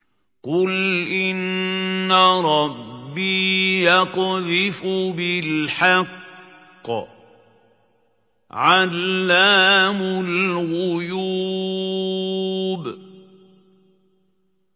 قُلْ إِنَّ رَبِّي يَقْذِفُ بِالْحَقِّ عَلَّامُ الْغُيُوبِ